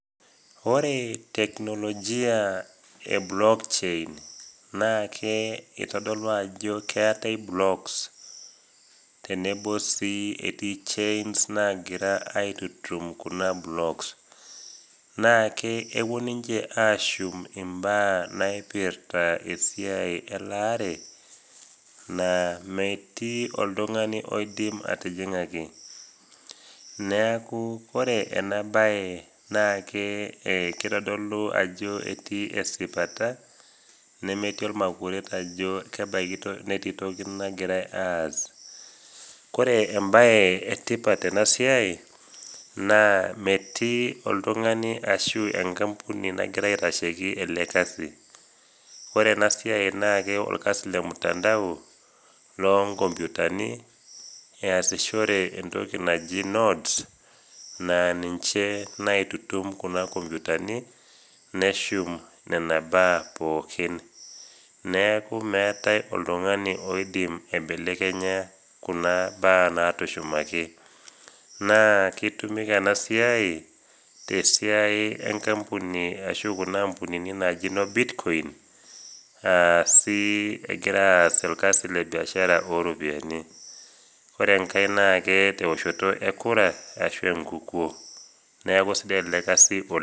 Oree teknolojia e blokchain naakee eitodolu ajo keetai blocks tenebo sii etii chains naagira aitutum kuna blocks. Naake epuo ninche ashum imbaa naipirta esiai elaare naa metii oltung'ani oidim atijing'aki, neaku ore enabaye naake keitodolu ajo etii esipata nemetii olmakuret ajo kebaiki toki, netii toki nagirai aas. Kore embaye etipat tenasiai naa metii oltung'ani ashu enkampuni nagira aitasheiki ele kasi. Ore enasiai naake olkasi lemutandao loonkompyutani easishore entoki naji nodes naa ninche naitutum kuna kompyutani neshum nena baa pookin. Neaku meetai oltung'ani oidim aibelekenya kuna baa naatushumaki. Naa keitumika enasiai tesiai enkampuni ashu kuna ampunini naaji noo Bitcoin aasii egira aas olkasi lebiashara ooropiani. Ore engai naakee teoshoto ekura ashu enkukuo, neaku sidai ele kasi oleng'.